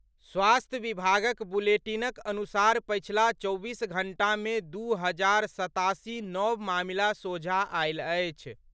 स्वास्थ्य विभागक बुलेटिनक अनुसार पछिला चौबीस घंटा मे दू हजार सत्तासी नव मामिला सोझा आयल अछि।